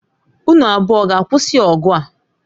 Unu abụọ ọ ga-akwụsị ọgụ a?